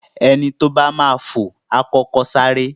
Ẹni tó bá máa fò, A kọ́kọ́ sáré.